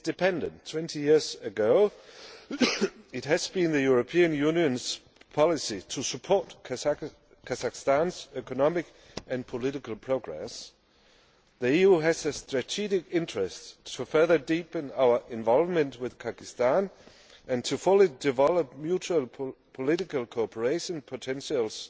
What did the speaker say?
its independence 20 years ago, it has been the European Union's policy to support Kazakhstan's economic and political progress. The EU has a strategic interest to further deepen our involvement with Kazakhstan and to fully develop mutual political cooperation potentials,